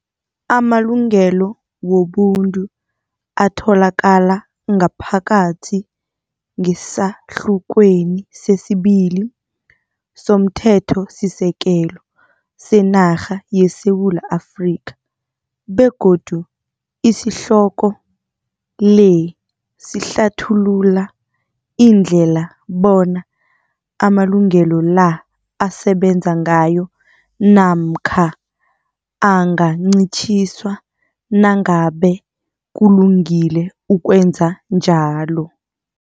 Amalungelo Wobuntu atholakala ngaphakathi ngesahlukweni sesibili somthetho-sisekelo senarha yeSewula Afrika begodu isihloko le sihlathulula indlela bona amalungelo la asebenza ngayo namkha angancitjhiswa nangabe kulungile ukwenza njalo.